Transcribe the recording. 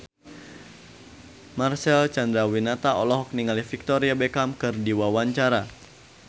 Marcel Chandrawinata olohok ningali Victoria Beckham keur diwawancara